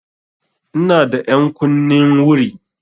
Ina da ƴankunnin wuri.